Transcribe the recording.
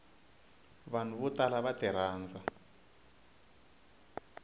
vanhu vo tala va tirhandza